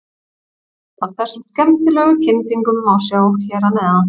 Myndband af þessum skemmtilegu kyndingum má sjá hér að neðan.